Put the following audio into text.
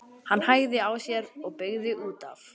Hann hægði á sér og beygði út af.